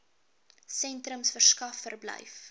sentrums verskaf verblyf